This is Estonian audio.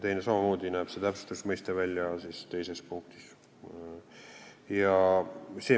Samamoodi näeb see mõiste täpsustus välja teises punktis.